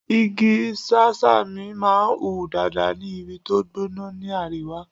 Igi Sẹ́sámì máa ń hù dáadáa ní ibi tó gbóná ni àríwá.